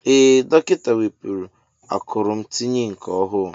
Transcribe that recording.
Ee dọkịta wepụrụ akụrụ m tinye nke ọhụụ.